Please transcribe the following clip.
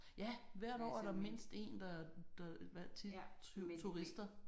Ja hvert år er der mindst én der der hvad turister